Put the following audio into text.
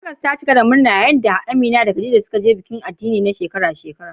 Legas ta cika da murna yayin da Amina da Khadija ke halartar bikin addini na shekara-shekara.